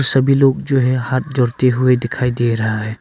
सभी लोग जो है हाथ जोड़ते हुए दिखाई दे रहा है।